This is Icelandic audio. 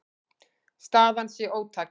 Staðan sé ótæk.